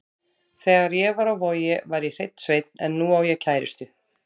Þegar ég var á Vogi var ég hreinn sveinn en nú á ég kærustu.